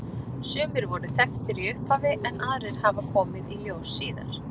Sumir voru þekktir í upphafi en aðrir hafa komið í ljós síðar.